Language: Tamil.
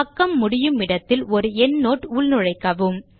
பக்கம் முடியுமிடத்தில் ஒரு எண்ட்னோட் உள்நுழைக்கவும்